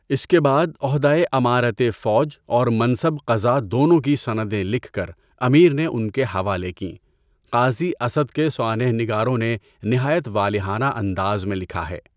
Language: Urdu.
اس کے بعد عہدۂ امارتِ فوج اورمنصب قضا دونوں کی سندیں لکھ کر امیر نے ان کے حوالہ کیں، قاضی اسد کے سوانح نگاروں نے نہایت والہانہ انداز میں لکھا ہے۔